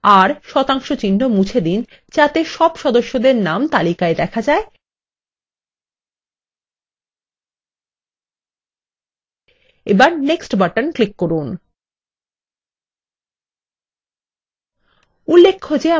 এখন value text বাক্স থেকে আর % মুছে দিন যাতে সব সদস্যদের নাম তালিকায় দেখা যায় এবার next বাটন ক্লিক করুন